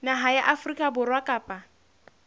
naha ya afrika borwa kapa